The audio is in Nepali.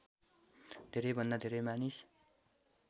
धेरैभन्दा धेरै मानिस